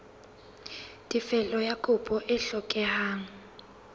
tefello ya kopo e hlokehang